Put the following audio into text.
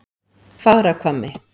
Fagrahvammi